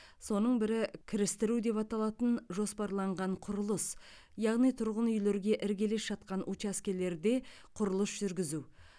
соның бірі кірістіру деп аталатын жоспарланған құрылыс яғни тұрғын үйлерге іргелес жатқан учаскелерде құрылыс жүргізу